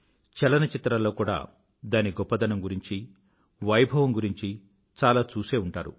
చలనచిత్రాల్లో కూడా దాని గొప్పదనం గురించి వైభవం గురించి చాలా చూసే ఉంటారు